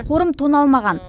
қорым тоналмаған